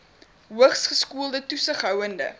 hoogs geskoolde toesighoudende